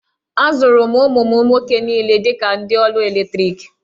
Azụrụ m ụmụ m nwoke niile dị ka ndị ọrụ eletriki.